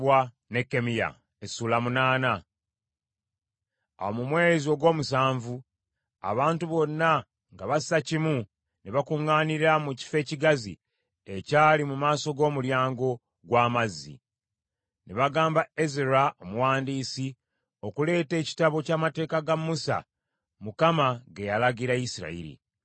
abantu bonna nga bassa kimu ne bakuŋŋaanira mu kifo ekigazi ekyali mu maaso g’Omulyango gw’Amazzi. Ne bagamba Ezera omuwandiisi, okuleeta Ekitabo ky’Amateeka ga Musa, Mukama ge yalagira Isirayiri.